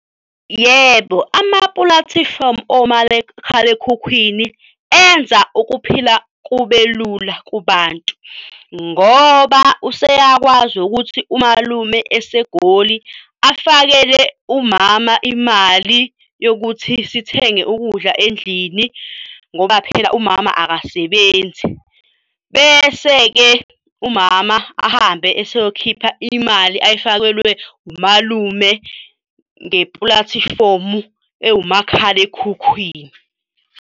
Yebo, amapulatifomu omakhalekhukhwini enza ukuphila kube lula kubantu ngoba useyakwazi ukuthi umalume eseGoli afakele umama imali yokuthi sithenge ukudla endlini ngoba phela umama akasebenzi. Bese-ke, umama ahambe eseyokhipha imali ayifakelwe umalume ngepulatifomu ewumakhalekhukhwini.